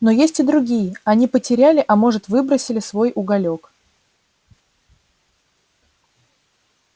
но есть и другие они потеряли а может выбросили свой уголёк